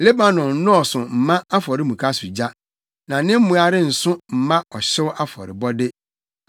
Lebanon nnɔɔso mma afɔremuka so gya, na ne mmoa renso mma ɔhyew afɔrebɔde.